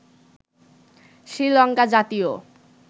শ্রীলঙ্কা জাতীয়